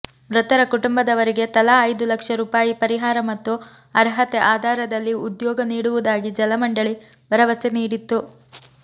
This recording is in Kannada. ಮೃತರ ಕುಟುಂಬದವರಿಗೆ ತಲಾ ಐದು ಲಕ್ಷ ರೂಪಾಯಿ ಪರಿಹಾರ ಮತ್ತು ಅರ್ಹತೆ ಆಧಾರದಲ್ಲಿ ಉದ್ಯೋಗ ನೀಡುವುದಾಗಿ ಜಲಮಂಡಳಿ ಭರವಸೆ ನೀಡಿತ್ತು